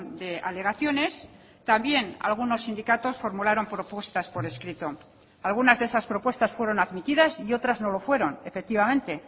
de alegaciones también algunos sindicatos formularon propuestas por escrito algunas de esas propuestas fueron admitidas y otras no lo fueron efectivamente